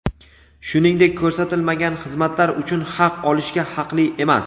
shuningdek ko‘rsatilmagan xizmatlar uchun haq olishga haqli emas.